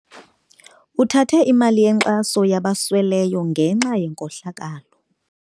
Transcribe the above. Uthathe imali yenkxaso yabasweleyo ngenxa yenkohlakalo.